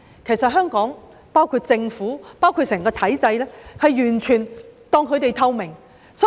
他們說香港政府以至整個體制完全當他們透明。